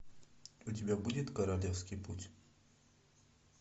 у тебя будет королевский путь